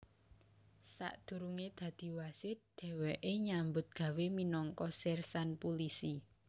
Sadurungé dadi wasit dhèwèké nyambut gawé minangka sersan pulisi